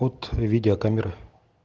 от видеокамеры